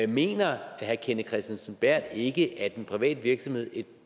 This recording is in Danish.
mener herre kenneth kristensen berth ikke at en privat virksomhed et